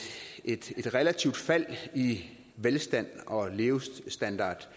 et relativt fald i velstand og levestandard